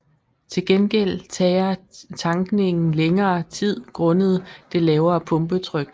Til gengæld tager tankningen længere tid grundet det lavere pumpetryk